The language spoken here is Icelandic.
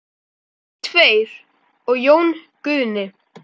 Við tveir og Jón Guðni.